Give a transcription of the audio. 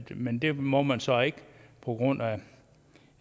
men det må man så ikke på grund